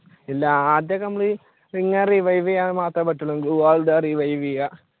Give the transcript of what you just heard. ഇല്ല ആദ്യമൊക്കെ നമ്മൾ ഇങ്ങനെ revive ചെയ്യാൻ മാത്രമേ പറ്റൂള് glue wall ഇടുക revive ചെയുക